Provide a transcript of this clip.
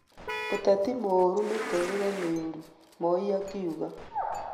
ũteti mũũru mitũũrĩre mĩũru, Moi akiuga